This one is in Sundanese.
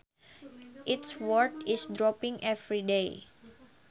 Its worth is dropping every day